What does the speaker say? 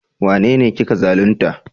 Wanene kika zalunta?